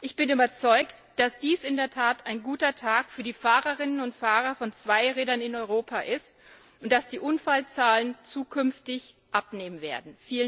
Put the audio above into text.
Ich bin überzeugt, dass dies in der Tat ein guter Tag für die Fahrerinnen und Fahrer von Zweirädern in Europa ist und dass die Unfallzahlen zukünftig abnehmen werden.